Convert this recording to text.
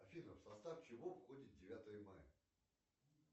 афина в состав чего входит девятое мая